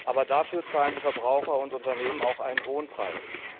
Dafür zahlen aber die Verbraucher und Unternehmen auch einen hohen Preis.